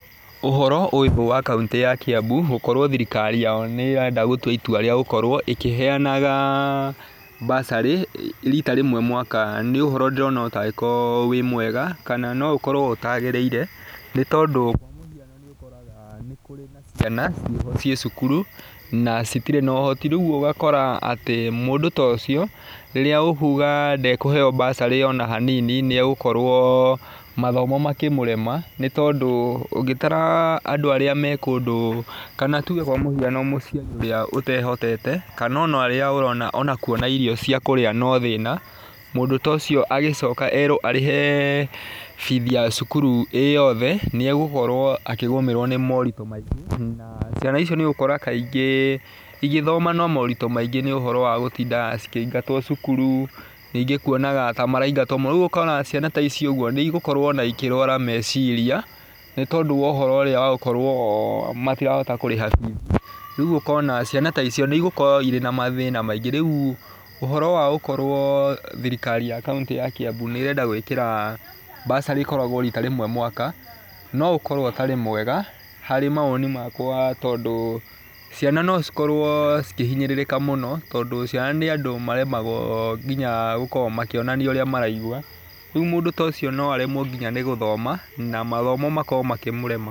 Ũhoro ũyũ wa kauntĩ ya Kiambu, gũkorwo thirikari yao nĩ ĩrenda gũtua itua rĩa gũkorwo ĩkĩheanaga mbacarĩ, riita rĩmwe mwaka nĩ ũhoro ndĩrona ũtangĩkorwo wĩ mwega, kana no ũkorwo ũtagĩrĩire. Nĩ tondũ kwa mũhiano nĩ ũkoraga nĩ kũrĩa na ciana, ciĩho ciĩ cukuru, na citirĩ na ũhoti, rĩu ũgakora atĩ mũndúũta ũcio, rĩrĩa ũkuga ndekũheeo mbacarĩ ona hanini, nĩ egũkorwo mathomo makĩmũrema, nĩ tondũ ũngĩtara andũ arĩa me kũndũ kana tuge kwa mũhiano mũciari ũrĩa ũtehotete, kana ona arĩa ũrona ona kuona irio cia kũrĩa no thĩna, mũndũ ta ũcio agĩcoka eerwo arĩhe bithi ya cukuru ĩĩ yothe, nĩ egũkorwo akĩgũmĩrwo nĩ moritũ maingĩ. Na, ciana icio nĩ ũgũkora kaingĩ igĩthoma na moritũ maingĩ nĩ ũhoro wa gũtindaga cikĩingatwo cukuru, rĩngĩ kuonaga ta maraingatwo mũno. Rĩu ũkona ciana ta ici ũguo, nĩ igũkorwo ona ikĩrũara meciria, nĩ tondúũwa ũhoro ũrĩa wa gũkorwo o matirahota kũrĩha bithi. Rĩu ũkona ciana ta icio, nĩ igũkorwo irĩ na mathĩna maingĩ. Rĩu, ũhoro wa gũkorwo thirikari ya kauntĩ ya Kiambu nĩ ĩrenda gwĩkĩra mbacarĩ ĩkoragwo riita rĩmwe mwaka, no ũkorwo ũtarĩ mwega, harĩ mawoni makwa tondũ ciano no cikorwo cikĩhinyĩrĩrĩka mũno, tondũ ciana nĩ andũ maremagwo nginya gũkorwo makĩonania ũrĩa maraigua. Rĩu mũndũ ta ũcio no aremwo nginya nĩ gũthoma, na mathomo makorwo makĩmũrema.